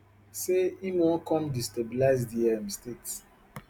say im wan come destabilize di um state